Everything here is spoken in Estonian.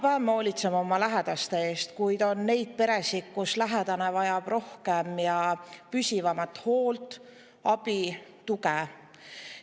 Me hoolitseme iga päev oma lähedaste eest, kuid on neid peresid, kus lähedane vajab rohkem ja püsivamat hoolt, abi ja tuge.